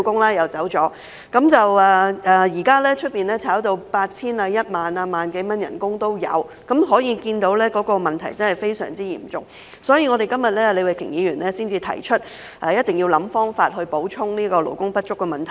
現時，聘請外傭的薪金已被炒高至 8,000 元、1萬元甚至更高，可見問題真的非常嚴重，所以李慧琼議員今天才提出，一定要設法補充勞工不足的問題。